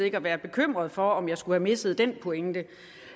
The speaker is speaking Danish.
ikke at være bekymret for om jeg skulle have misset den pointe